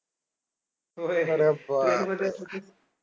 अरे बापरे